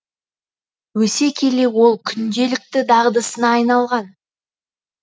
өсе келе ол күнделікті дағдысына айналған